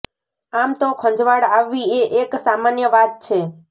આમ તો ખંજવાળ આવવી એ એક સામાન્ય વાત છે